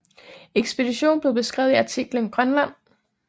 Ekspeditionen blev beskrevet i artiklen Grönland